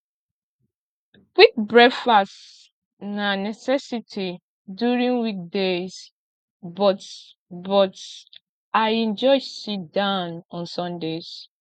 quick breakfast na necessity during weekdays but but i enjoy sitdown on sundays